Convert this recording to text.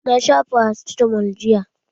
Na sha farasitamol jiya.